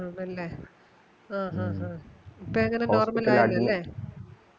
ആണല്ലേ ആ ആ ആ ഇപ്പോ എങ്ങനെ normal ആയല്ലോ ലെ